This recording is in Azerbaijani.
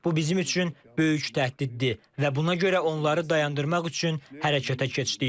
Bu bizim üçün böyük təhdiddir və buna görə onları dayandırmaq üçün hərəkətə keçdik.